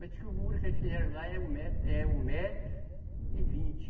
Mas o muro que eles fizeram lá é um metro, é um metro e vinte.